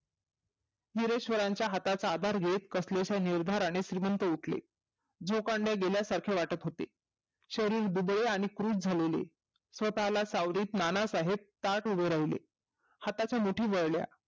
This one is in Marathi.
हिरेश्वरांच्या हाताचा अधार घेत कसलेशा निर्धाराने श्रिमंत उठले. जिव भांड्यात गेल्या सारखे वाटत होते. शरीर दुबळे आणि कुरूप झालेले. स्वतः ला सावरीत नानासाहेब ताट उभे राहीले. हाताच्या मुठी वळल्या